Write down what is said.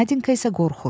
Nadinka isə qorxur.